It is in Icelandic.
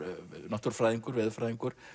náttúrufræðingur veðurfræðingur